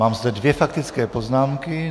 Mám zde dvě faktické poznámka.